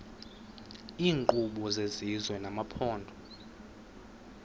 iinkqubo zesizwe nezamaphondo